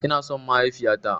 Ina son mahaifiya ta.